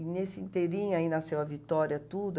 E nesse inteirinho aí nasceu a Vitória, tudo.